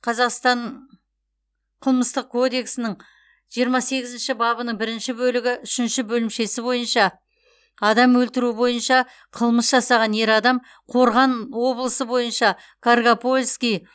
қазақстан қылмыстық кодексінің сексен сегізінші бабының бірінші бөлігі үшінші бөлімшесі бойынша адам өлтіру бойынша қылмыс жасаған ер адам қорған облысы бойынша каргопольский